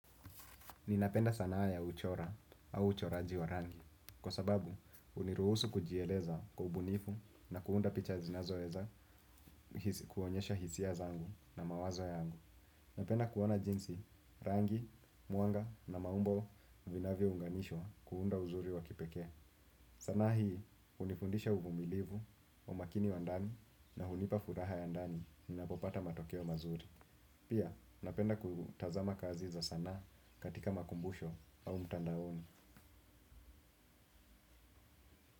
Ninapenda sanaa ya kuchora au uchoraji wa rangi kwa sababu huniruhusu kujieleza kww ubunifu na kuunda picha zinazoweza kuonyesha hisia zangu na mawazo yangu. Napenda kuona jinsi rangi, mwanga na maumbo vinavyo unganishwa kuunda uzuri wa kipekee. Sanaa hii hunifundisha uvumilivu, umakini wa ndani na hunipa furaha ya ndani ninapopata matokeo mazuri. Pia, napenda kutazama kazi za sanaa katika makumbusho au mtandaoni.